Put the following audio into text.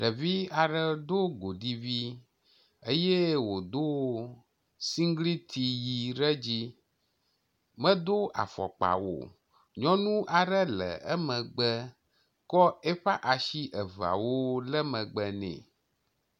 Ɖevi aɖe do godi vi eye wodo sigliti ʋi ɖe edzi medo afɔkpa o. Nyɔnu aɖe le emegbe kɔ eƒe asi eveawo le megbe nɛ.